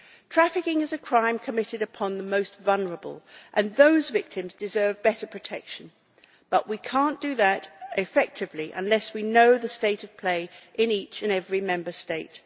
Trafficking is a crime committed upon the most vulnerable and those victims deserve better protection, but we cannot do that effectively unless we know the state of play in each and every Member State.